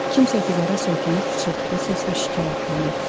Kimsə divara söykənib pıçıltılı səslə şikayətlənirdi.